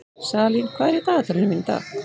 Salín, hvað er í dagatalinu mínu í dag?